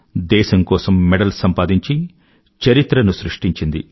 దేశం కోసం మెడల్ సంపాదించి చరిత్రను సృష్టించింది